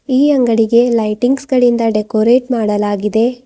ಈ ಅಂಗಡಿಗೆ ಲೈಟಿಂಗ್ಸ್ ಗಳಿಂದ ಡೆಕೋರೇಟ್ ಮಾಡಲಾಗಿದೆ.